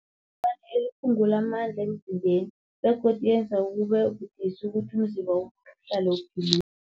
eliphungula amandla emzimbeni begodu yenza kube budisi ukuthi umzimba uhlale uphilile.